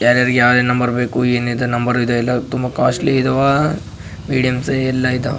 ಯಾರ್ಯಾರಿಗೆ ಯಾವ್ಯಾವ್ ನಂಬರ್ ಬೇಕು ಏನಿದು ನಂಬರ್ ಇದೆಲ್ಲ ತುಂಬಾ ಕಾಸ್ಟ್ಲಿ ಇದಾವ ಮೀಡಿಯಮ್ ಸೈಜ಼್ ಎಲ್ಲ ಇದಾವ.